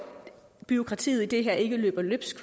bureaukratiet i det her ikke løber løbsk